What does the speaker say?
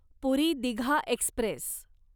पुरी Digha Express